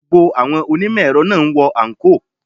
Gbogbo àwọn onímò èrọ náà ń wọ àǹkóò.